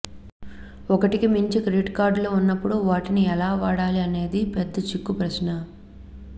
ఒకటికి మించి క్రెడిట్ కార్డులు ఉన్నప్పుడు వాటిని ఎలా వాడాలి అనేది పెద్ద చిక్కు ప్రశ్నే